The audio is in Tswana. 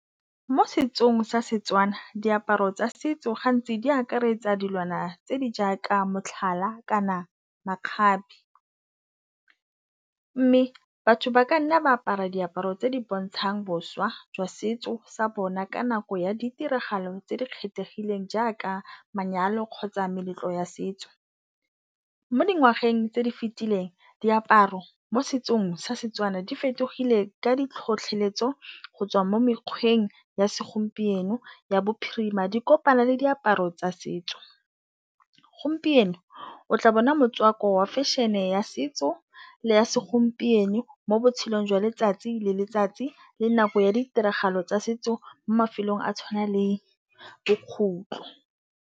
Mo setsong sa Setswana, diaparo tsa setso gantsi di akaretsa dilwana tse di jaaka motlhala kana makgabe, mme batho ba ka nna ba apara diaparo tse di bontshang boswa jwa setso sa bona ka nako ya ditiragalo tse di kgethegileng jaaka manyalo kgotsa meletlo ya setso. Mo dingwageng tse di fetileng, diaparo mo setsong sa Setswana di fetogile ka ditlhotlheletso go tswa mo mekgweng ya segompieno ya bophirima. Di kopana le diaparo tsa setso, gompieno o tla bona motswako wa fashion-e ya setso le ya segompieno mo botshelong jwa letsatsi le letsatsi le nako ya ditiragalo tsa setso mo mafelong a tshwana le .